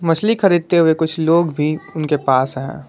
मछली खरीदते हुए कुछ लोग भी उनके पास है।